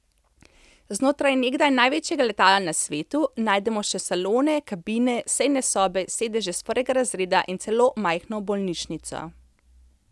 Znotraj nekdaj največjega letala na svetu najdemo še salone, kabine, sejne sobe, sedeže s prvega razreda in celo majhno bolnišnico.